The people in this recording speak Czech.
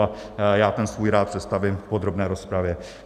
A já ten svůj rád představím v podrobné rozpravě.